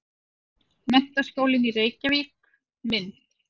Menntaskólinn í Reykjavík- mynd.